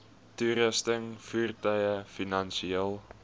toerusting voertuie finansiële